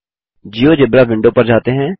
GeoGebra window पर जाते हैं